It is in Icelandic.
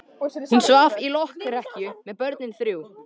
Hún svaf í lokrekkju með börnin þrjú.